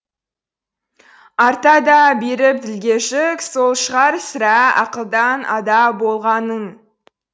арта да беріп ділге жүк сол шығар сірә ақылдан ада болғаның